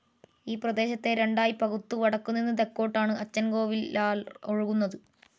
ഈപ്രദേശത്തെ രണ്ടായി പകുത്തു വടക്കു നിന്ന് തെക്കോട്ടാണ് അച്ചൻ കോവിലാർ ഒഴുകുന്നത്.